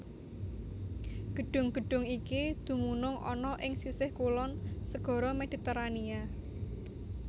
Gedhung gedhung iki dumunung ana ing sisih kulon Segara Mediterania